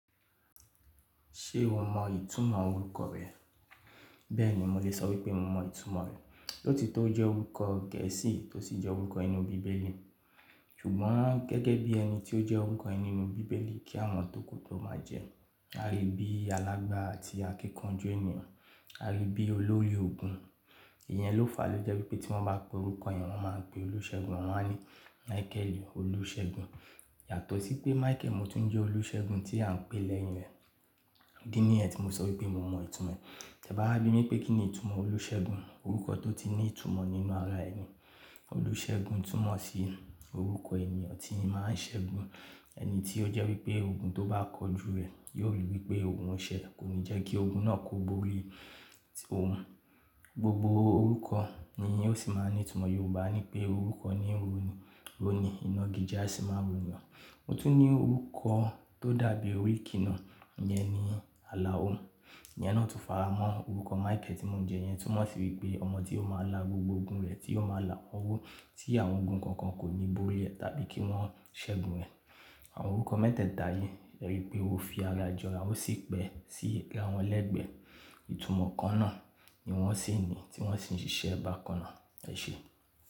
Ṣé o mọ ìtumọ̀ orúkọ rẹ? Bẹ́ẹ̀ni, mo lè sọ wípé mo mọ ìtumọ̀ rẹ̀. Lóòótó o jẹ́ orúkọ gẹ̀ẹ́sì tó sì jẹ́ orúkọ inú bíbélì. Ṣùgbọ́n, gẹ́gẹ́ bí ẹni tí ó jẹ́ orúkọ ẹni nínú bíbélì kí àwọn tòkù tó máa jẹ. A lè bí alágbára àti akíkanjú ènìyàn. A lè bí olórí ogun. Ìyẹn ló fàá ló jẹ́ wípé tí wọ́n bá pe orúkọ eniyan, wọ́n máa ń pe olùṣẹ́gun, wọ́n máa ń ní Michael olùṣẹ́gun. Yàtọ̀ sí pé Michael mo tún jẹ́ olùṣẹ́gun tí à ń pè lẹ́yìn rẹ. Ìdí nìyen tí mo sọ wípé mo mọ ìtumọ̀ rẹ̀. Tí e bá wá bi mí pé kíni ìtumọ̀ olùṣẹ́gun? Orúkọ tó ti ní ìtumọ̀ nínú ara ẹni. Olùṣẹ́gun túmọ̀ sí orúkọ ènìyàn tí máa ń ṣẹ́gun. Ẹni tí ó jẹ́ wípé ogun tó bá kọjú rẹ̀ yóò rì wípé òun ń ṣẹ́, kò ní jẹ́ kí ogun náà kó bóórí òun. Gbogbo orúkọ nì ó sì máa ń ní ìtumọ̀. Yorùbá ní pé orúkọ ni ń rò ni, iná igi je a sì máa ro ènìyàn. Mo tún ní orúkọ tó dàbí oríkì náà ìyẹn ni Alao. Ìyẹn náà tún faramọ́ orúkọ Michael tí mò ń jẹ. Ìyẹn tún mọ́ sí wípé ọmọ tí ó máa là gbogbo ogun rẹ̀, tí ó máa là ti àwọn ogun kankan ò ní borí rẹ̀ àbí kí wọ́n ṣẹ́gun rẹ̀. Àwọn orúkọ mẹ́tèta yìí, e rí wípé o fi ara jọ ara, ó sì pẹ́ sí àra won légbè. Ìtumọ̀ kan náà ni wọ́n sì ń ní tí wọ́n sì ń ṣiṣẹ́ bákan náà. Ẹ ṣé.